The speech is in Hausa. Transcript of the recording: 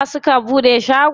Jiya suka buɗe shagon?